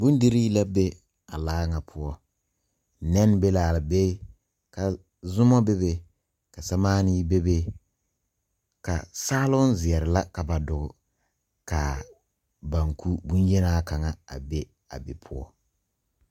Bondirii la be a laa nga puo nen be la be ka zumo bebe ka samaani bebe ka saalong zeɛre la ka ba dugi kaa banku bonyenaa kanga a be a be pou.